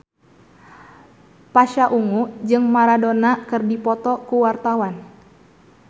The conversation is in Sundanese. Pasha Ungu jeung Maradona keur dipoto ku wartawan